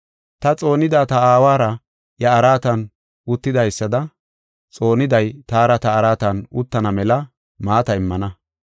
Ta xoonada ta Aawara iya araatan uttidaysada xooniday taara ta araatan uttana mela maata immana.